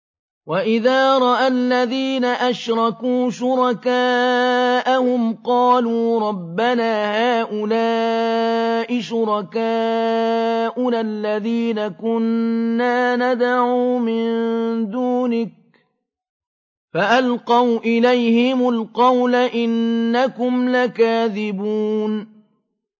وَإِذَا رَأَى الَّذِينَ أَشْرَكُوا شُرَكَاءَهُمْ قَالُوا رَبَّنَا هَٰؤُلَاءِ شُرَكَاؤُنَا الَّذِينَ كُنَّا نَدْعُو مِن دُونِكَ ۖ فَأَلْقَوْا إِلَيْهِمُ الْقَوْلَ إِنَّكُمْ لَكَاذِبُونَ